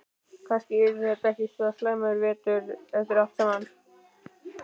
Kannski yrði þetta ekki svo slæmur vetur eftir allt saman.